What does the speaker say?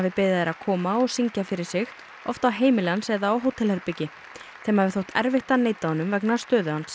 beðið þær að koma og syngja fyrir sig oft á heimili hans eða á hótelherbergi þeim hafi þótt erfitt að neita honum vegna stöðu hans